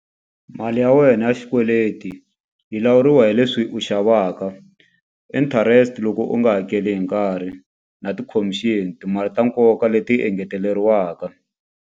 Mali ya wena ya xikweleti yi lawuriwa hi leswi u xavaka interest loko u nga hakeli hi nkarhi na ti-commission timali ta nkoka leti engeteleriwaka.